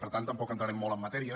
per tant tampoc entrarem molt en matèria